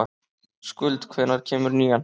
Skuld, hvenær kemur nían?